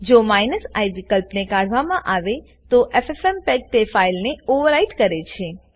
જો i વિકલ્પને કાઢવામાં આવે તો એફએફએમપેગ તે ફાઈલને ઓવરરાઈટ કરે છે